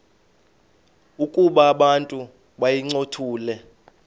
ukuba abantu bayincothule